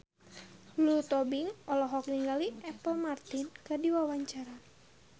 Lulu Tobing olohok ningali Apple Martin keur diwawancara